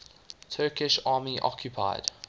turkish army occupied